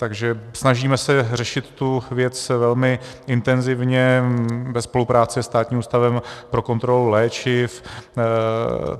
Takže snažíme se řešit tu věc velmi intenzivně ve spolupráci se Státním ústavem pro kontrolu léčiv.